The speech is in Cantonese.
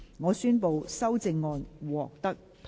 我宣布修正案獲得通過。